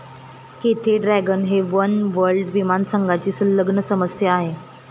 Cathay Dragon हे oneworld विमानसंघाची संलग्न सदस्य आहे.